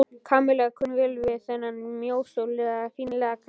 Kamilla kunni vel við þennan mjóslegna og fínlega karl.